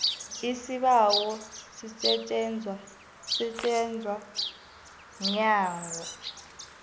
isibawo sisetjenzwa mnyango